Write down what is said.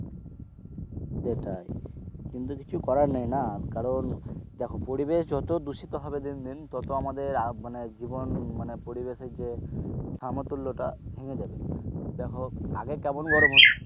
সেটাই কিন্তু কিছু করার নেই না, কারণ দেখো পরিবেশ যত দূষিত হবে দিন দিন তত মানে আমাদের মানে জীবন পরিবেশের যে সামতুল্যতা ভেঙে দেবে দেখো আগে কেমন গরম,